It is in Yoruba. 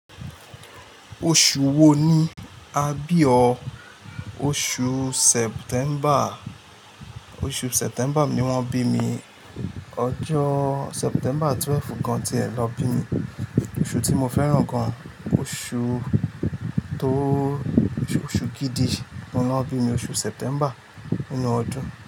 Osu wo ni, a bi o. Oṣù September, oṣù September ni wọ́n bí mi. Ọjọ September 12 gan tí ẹ lọ bí mi. Oṣù tí mo fẹ́ràn gan. Oṣù tó, oṣù gidi, òun lọ bí mi oṣù September nínú ọdún.